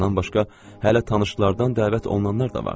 Bundan başqa, hələ tanışlardan dəvət olunanlar da vardı.